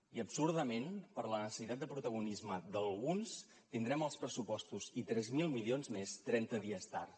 i absurdament per la necessitat de protagonisme d’alguns tindrem els pressupostos i tres mil milions més trenta dies tard